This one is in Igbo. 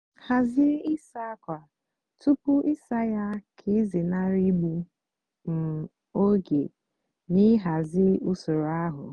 hàzie ịsá ákwa túpú ịsá yá kà ịzénárị ígbu um ógè nà ịhazi usoro áhụ.